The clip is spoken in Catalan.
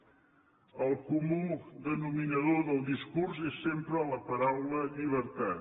el comú denominador del discurs és sempre la paraula llibertat